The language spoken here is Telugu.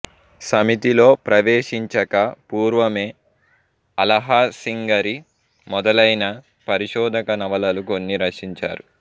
సమితిలో ప్రవేశించక పూర్వమే అళహసింగరి మొదలయిన పరిశోధక నవలలు కొన్ని రచించారు